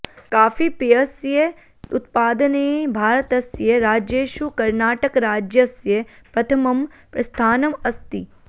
काफीपेयस्य उत्पादने भारतस्य राज्येषु कर्णाटकराज्यस्य प्रथमं स्थानम् अस्ति